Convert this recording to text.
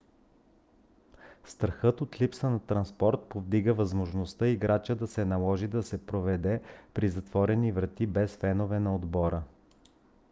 страхът от липса на транспорт повдигна възможността играта да се наложи да се проведе при затворени врати без феновете на отбора